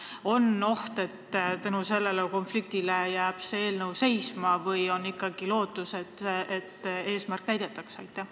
Kas on oht, et selle konflikti tõttu jääb see eelnõu seisma, või on ikkagi lootus, et eesmärk täidetakse?